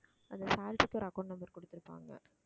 அந்த salary க்கு ஒரு account number கொடுத்திருப்பாங்க